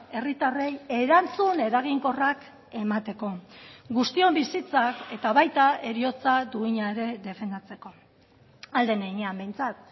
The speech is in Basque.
herritarrei erantzun eraginkorrak emateko guztion bizitzak eta baita heriotza duina ere defendatzeko ahal den heinean behintzat